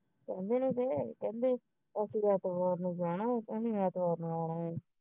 ਕਹਿੰਦੇ ਅਸੀ ਐਤਵਾਰ ਨੂੰ ਜਾਣਾ ਉਸੇ ਮਹੀਨੇ ਐਤਵਾਰ ਨੂੰ ਆਣਾ